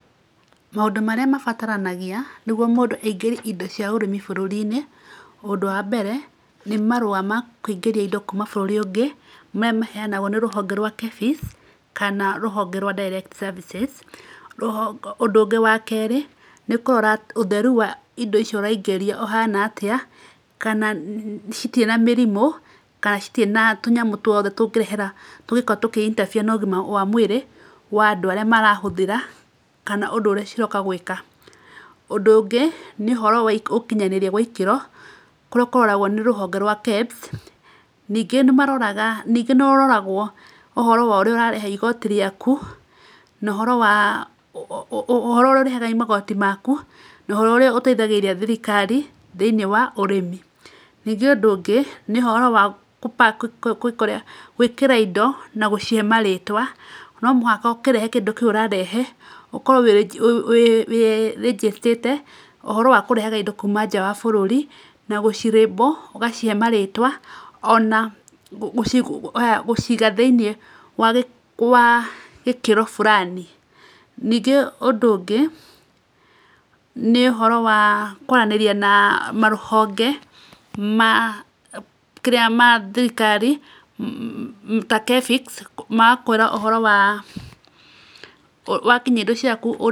Maũndũ marĩa mabataranagia nĩguo mũndũ aingĩrie indo cia ũrĩmi bũrũri-inĩ, ũndũ wa mbere nĩ marũa kũingĩria indo kuuma bũrũri ũngĩ, maya maheanagwo nĩ rũhonge rwa KEPHIS, kana rũhonge rwa Direct Services. Ũndũ ũngĩ wa kerĩ, nĩ kũrora ũtheru wa indo icio ũraingĩria ũhana atĩa, kana citirĩ na mĩrimũ, kana citirĩ na tũnyamũ tũothe tũngĩrehera tũngĩkorwo tũkĩ interfer na ũgima wa mwĩrĩ wa andũ arĩa marahũthĩra, kana ũndũ ũrĩa cirooka gwĩka. Ũndũ ũngĩ nĩ ũhoro wa ũkinyanĩria wa ikĩro, kũrĩa kũroragwo nĩ rũhonge rwa KEBS. Ningĩ nĩ maroraga, ningĩ nĩ ũroragwo ũhoro wa ũrĩa ũrarĩha igoti rĩaku na ũhoro wa ũhoro ũrĩa ũrĩhaga magoti maku, na ũhoro ũrĩa ũteithagĩrĩria thirikari thĩiniĩ wa ũrĩmi. Ningĩ ũndũ ũngĩ, nĩ ũhoro wa kũ pack, kwĩ ĩka ũria kwĩ ĩkĩra indo na gũcihe marĩtwa. No mũhaka ũkĩrehe kĩndũ kĩu ũrarehe, ũkorwo wĩ registert ĩte ũhoro wa kũrehaga indo kuuma nja wa bũrũri na gũci label, ũgacihe marĩtwa o na gũciiga thĩiniĩ wa wa gĩkĩro fulani. Ningĩ ũndũ ũngĩ, nĩ ũhoro wa kũaranĩria na marũhonge ma kĩrĩa ma thirikari ta KEPHIS, magakwĩra ũhoro wa wakinyia indo ciaku, ũrĩa-